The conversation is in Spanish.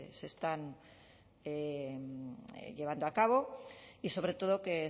se están llevando a cabo y sobre todo que